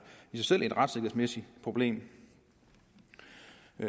i sig selv et retssikkerhedsmæssigt problem